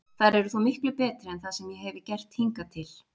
Þær eru þó miklu betri en það sem ég hefi gert hingað til.